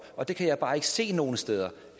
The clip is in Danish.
og det kan jeg bare ikke se optræde nogen steder